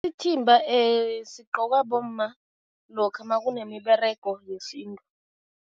Ithimba sigqokwa bomma lokha makunemiberego yesintu.